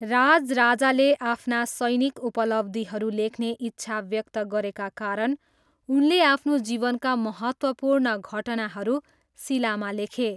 राजराजाले आफ्ना सैनिक उपलब्धिहरू लेख्ने इच्छा व्यक्त गरेका कारण उनले आफ्नो जीवनका महत्त्वपूर्ण घटनाहरू शिलामा लेखे।